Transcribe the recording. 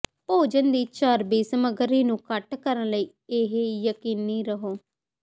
ਭੋਜਨ ਦੀ ਚਰਬੀ ਸਮੱਗਰੀ ਨੂੰ ਘੱਟ ਕਰਨ ਲਈ ਇਹ ਯਕੀਨੀ ਰਹੋ